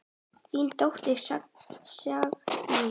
Þín dóttir, Signý.